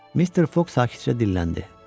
Mister Foq sakitcə dilləndi: